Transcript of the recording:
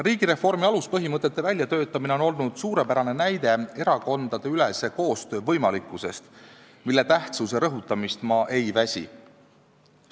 Riigireformi aluspõhimõtete väljatöötamine on olnud suurepärane näide erakondade koostöö võimalikkuse kohta, mille tähtsust ma ei väsi rõhutamast.